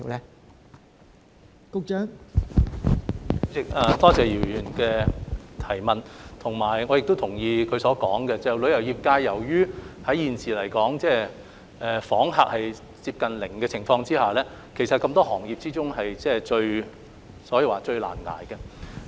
代理主席，多謝姚議員的補充質詢，同時我也同意他所說，旅遊業界在現時來說，由於訪港旅客接近零的情況下，其實在眾多行業之中，可以說是"最難捱"的。